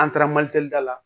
An taara da la